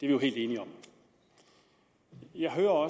vi jo helt enige om jeg hører